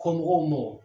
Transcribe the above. Kɔmɔgɔw mɔ